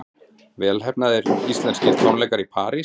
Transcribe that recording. Vel heppnaðir íslenskir tónleikar í París